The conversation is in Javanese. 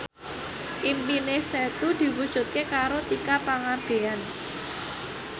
impine Setu diwujudke karo Tika Pangabean